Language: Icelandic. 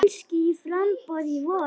Kannski í framboð í vor.